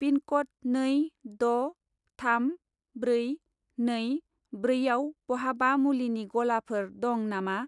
पिनक'ड नै द' थाम ब्रै नै ब्रै आव बहाबा मुलिनि गलाफोर दं नामा?